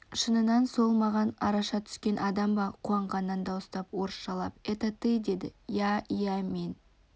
шыннан сол ма маған араша түскен адам ба қуанғаннан дауыстап орысшалап это ты деді яиә мен